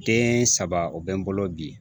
Den saba o bɛ n bolo bi